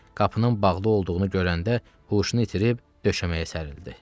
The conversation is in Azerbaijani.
Qapının bağlı olduğunu görəndə huşunu itirib döşəməyə sərrildi.